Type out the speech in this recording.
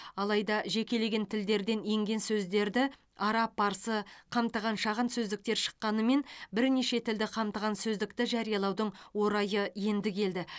алайда жекелеген тілдерден енген сөздерді араб парсы қамтыған шағын сөздіктер шыққанымен бірнеше тілді қамтыған сөздікті жариялаудың орайы енді келді